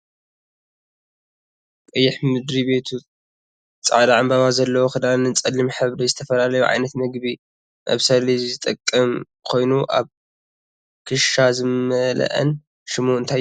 ቀይሕ ምድሪ ቤቱ ፃዕዳ ዕንበባ ዘለዎ ክዳንን ፀሊም ዝሕብሪ ዝትፈላለዩ ዓይነት ምግቢ መብሰሊ ዝጠቅም ኮይኑ ኣብ ክሻ ዝምለኣን ሽሙ እንታይ ይብሃል?